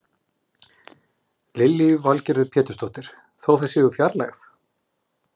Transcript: Lillý Valgerður Pétursdóttir: Þó það sé úr fjarlægð?